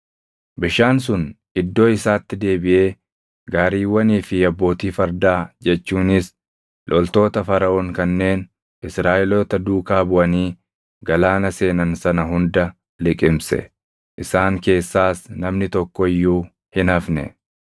Bishaan sun iddoo isaatti deebiʼee gaariiwwanii fi abbootii fardaa jechuunis loltoota Faraʼoon kanneen Israaʼeloota duukaa buʼanii galaana seenan sana hunda liqimse. Isaan keessaas namni tokko iyyuu hin hafne.